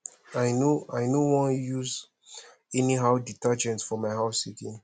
i no i no wan dey use anyhow detergent for my house again